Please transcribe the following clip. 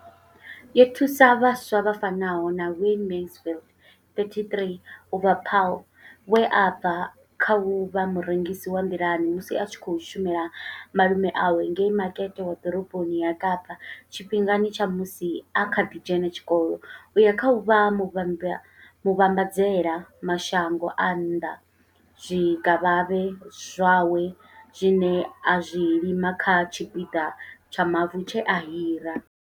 Yo thusa vhaswa vha fanaho na Wayne Mansfield 33 u bva Paarl, we a bva kha u vha murengisi wa nḓilani musi a tshi khou shumela malume awe ngei makete wa ḓoroboni ya Kapa tshifhingani tsha musi a kha ḓi dzhena tshikolo u ya kha u vha muvhambadzela mashango a nnḓa zwikavhavhe zwawe zwine a zwi lima kha tshipiḓa tsha mavu tshe a hira.